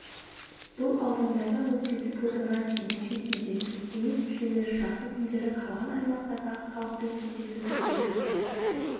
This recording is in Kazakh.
бұл аудандарда өткізіліп отырған жетінші кездесу кеңес мүшелері жақын күндері қалған аймақтардағы халықпен кездесуді көздеп отыр